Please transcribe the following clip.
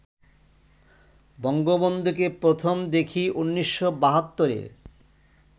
বঙ্গবন্ধুকে প্রথম দেখি ১৯৭২-এ